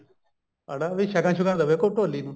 ਅੜਾ ਵੀ ਕੋਈ ਸ਼ਗਨ ਸ਼ੁਗਣ ਦੇਵੇ ਢੋਲੀ ਨੂੰ